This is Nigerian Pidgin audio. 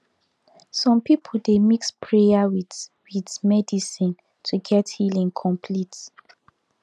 some people dey mix prayer with with medicine to get healing complete